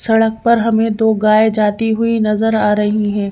सड़क पर हमें दो गाय जाती हुई नजर आ रही हैं।